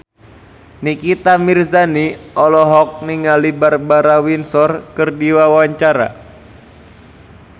Nikita Mirzani olohok ningali Barbara Windsor keur diwawancara